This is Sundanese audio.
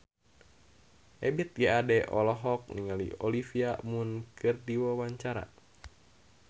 Ebith G. Ade olohok ningali Olivia Munn keur diwawancara